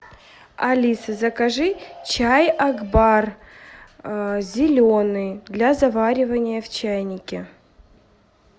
алиса закажи чай акбар зеленый для заваривания в чайнике